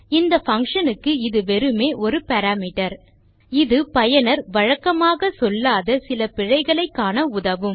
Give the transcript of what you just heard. இந்த பங்ஷன் க்கு இது வெறுமே ஒரு பாராமீட்டர் இது பயனர் வழக்கமாக சொல்லாத சில பிழைகளை காண உதவும்